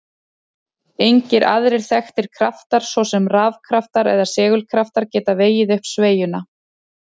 Engir aðrir þekktir kraftar, svo sem rafkraftar eða segulkraftar, geta vegið upp sveigjuna.